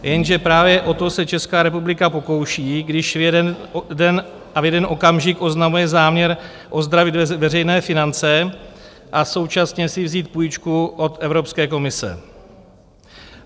Jenže právě o to se Česká republika pokouší, když v jeden den a v jeden okamžik oznamuje záměr ozdravit veřejné finance a současně si vzít půjčku od Evropské komise.